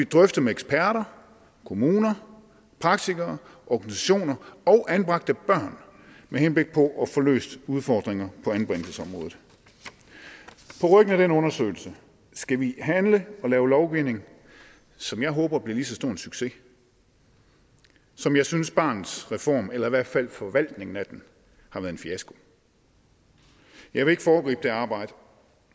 drøftet med eksperter kommuner praktikere organisationer og anbragte børn med henblik på at få løst udfordringer på anbringelsesområdet på ryggen af den undersøgelse skal vi handle og lave lovgivning som jeg håber bliver lige så stor en succes som jeg synes barnets reform eller i hvert fald forvaltningen af den har været en fiasko jeg vil ikke foregribe det arbejde